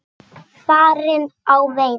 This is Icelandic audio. Farin á veiðar.